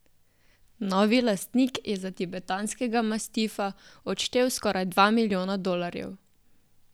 Novi lastnik je za tibetanskega mastifa odštel skoraj dva milijona dolarjev.